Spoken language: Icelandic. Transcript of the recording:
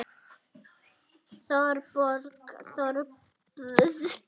Þorbjörn Þórðarson: Er útlit fyrir að það verði eitthvað umhverfistjón vegna slyssins?